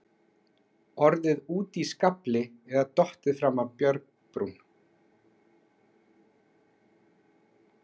Orðið úti í skafli eða dottið fram af bjargbrún.